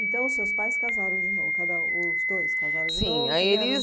Então, os seus pais casaram de novo, casaram os dois casaram de novo? Sim aí eles